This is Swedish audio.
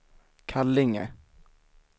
Kallinge